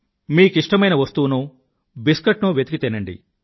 మీ కిష్టమైన వస్తువునో బిస్కెట్ నో వెతకి తినండి